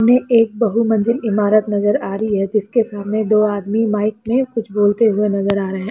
इसमें एक बहुमंजिल इमारत नज़र आ रही है जिसके सामने दो आदमी माइक में कुछ बोलते हुए नजर आ रहे है।